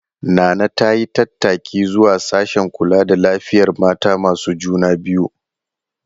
Nana ta yi tattaki zuwa sashen kula da lafiyar mata masu juna biyu.